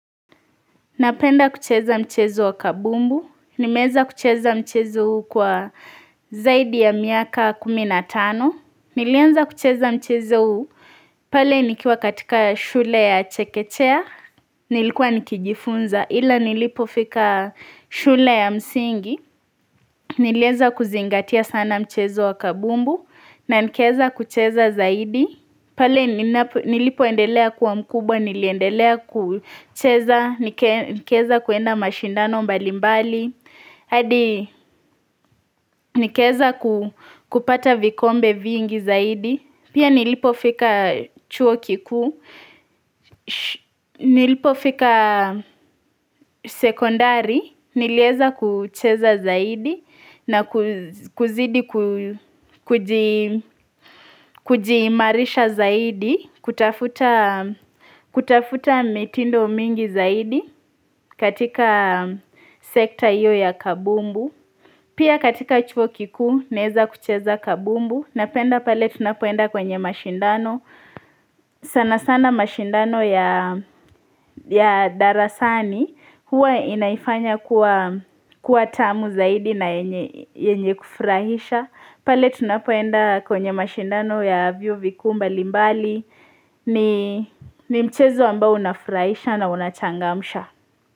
Napenda kucheza mchezo wa kabumbu. Nimeeza kucheza mchezo huu kwa zaidi ya miaka kumi na tano. Nilienza kucheza mchezo huu pale nikiwa katika shule ya Chekechea. Nilikuwa nikijifunza ila nilipofika shule ya msingi. Nilieza kuzingatia sana mchezo wa kabumbu na nikezakucheza zaidi. Pale nilipoendelea kuwa mkubwa, niliendelea kucheza, nikeza kuenda mashindano mbalimbali, hadi nikeza kupata vikombe vingi zaidi, pia nilipofika chuo kikuu, nilipofika sekondari, nileza kucheza zaidi, na kuzidi kujiimarisha zaidi, kutafuta mitindo mingi zaidi katika sekta iyo ya kabumbu. Pia katika chuo kikuu, naeza kucheza kabumbu, napenda pale tunapoenda kwenye mashindano. Sana sana mashindano ya darasani huwa inaifanya kuwa tamu zaidi na yenye kufrahisha. Pale tunapoenda kwenye mashindano ya vyuo vikuu mbali mbali ni mchezo ambao unafrahisha na unachangamsha.